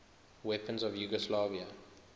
weapons of yugoslavia